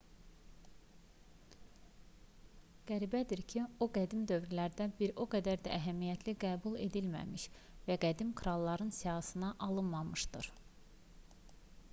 qəribədir ki o qədim dövrlərdə bir o qədər də əhəmiyyətli qəbul edilməmiş və qədim kralların siyahısına alınmamışdır